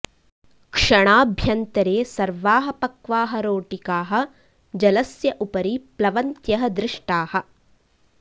क्षणाभ्यन्तरे सर्वाः पक्वाः रोटिकाः जलस्य उपरि प्लवन्त्यः दृष्टाः